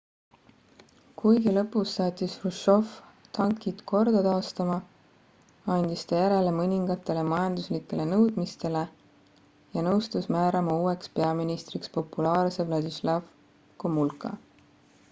kuigi lõpus saatis hruštšov tankid korda taastama andis ta järele mõningatele majanduslikele nõudmistele ja nõustus määrama uueks peaministriks populaarse władysław gomułka